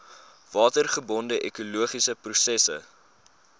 watergebonde ekologiese prosesse